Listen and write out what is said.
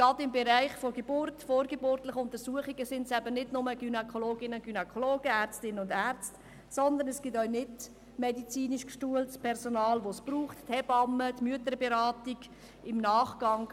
Gerade im Bereich der Geburtshilfe und der vorgeburtlichen Untersuchungen braucht es eben nicht nur Gynäkologinnen und Gynäkologen, Ärztinnen und Ärzte, sondern es braucht auch nichtuniversitär ausgebildetes Personal wie etwa Hebammen und Mütterberaterinnen.